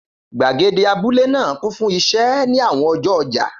Gbàgede abúlé náà kún fún iṣẹ́ ní àwọn ọjọ́ ọjà.